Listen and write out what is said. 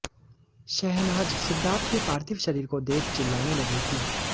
शहनाज सिद्धार्थ के पार्थिव शरीर को देख चिल्लाने लगी थी